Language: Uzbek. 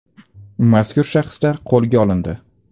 Mazkur shaxslar qo‘lga olindi.